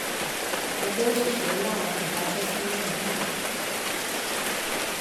ẹgbẹ òṣìṣẹ làwọn kò daṣẹ sílẹ mọ